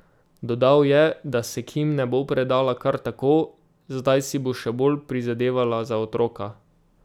Dodal je, da se Kim ne bo predala kar tako, zdaj si bo še bolj prizadevala za otroka.